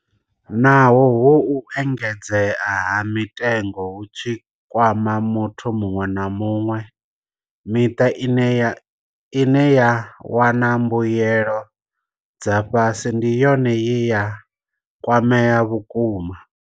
Naho uhu u engedzea ha mitengo hu tshi kwama muthu muṅwe na muṅwe, miṱa ine ya wana mbuyelo dza fhasi ndi yone ye ya kwamea vhukuma.